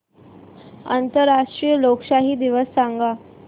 आंतरराष्ट्रीय लोकशाही दिवस सांगा